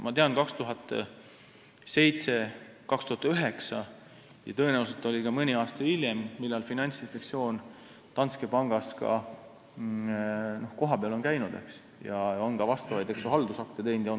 Ma tean, et 2007, 2009 ja tõenäoliselt ka mõni aasta hiljem käis Finantsinspektsioon Danske Bankis kohapeal ja on teinud ka vastavaid haldusakte.